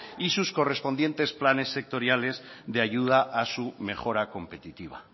y sus correspondientes planes sectoriales de ayuda a su mejora competitiva